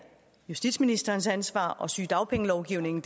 justitsministerens ansvar og sygedagpengelovgivningen